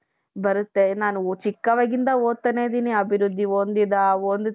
ಬರುತ್ತೆ. ನಾನು ಚಿಕ್ಕವಳಿಂದಾನು ಓದುತ್ತಾನೆ ಇದ್ದೀನಿ ಅಭಿವೃದ್ಧಿ ಹೊಂದಿದ ಹೊಂದಿಸಿದ